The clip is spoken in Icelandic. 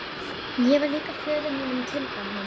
Ég var lík föður mínum og tilbað hann.